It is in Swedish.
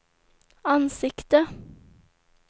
ansikte